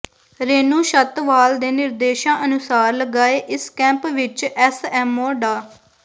ਰੇਨੂੰ ਛੱਤਵਾਲ ਦੇ ਨਿਰਦੇਸ਼ਾਂ ਅਨੁਸਾਰ ਲਗਾਏ ਇਸ ਕੈਂਪ ਵਿੱਚ ਐਸਐਮਓ ਡਾ